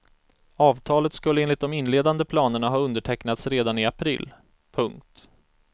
Avtalet skulle enligt de inledande planerna ha undertecknats redan i april. punkt